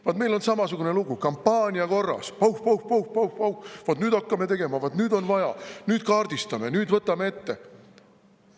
Vot meil on samasugune lugu: kampaania korras, pauh-pauh-pauh, vot nüüd hakkame tegema, vot nüüd on vaja, nüüd kaardistame, nüüd võtame ette.